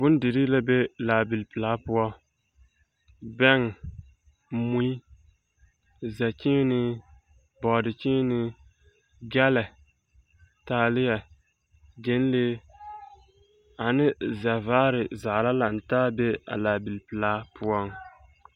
Bondirii la be laabil pelaa poɔ, bɛŋ, mui, zɛkyeenee, bɔɔdekyeenee, gyɛlɛ, taaleɛ, gyɛnlee ane zɛvaare zaa la lantaa be a laabil pelaa poɔ. 13415